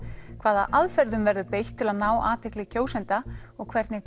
hvaða aðferðum verður beitt til ná athygli kjósenda og hvernig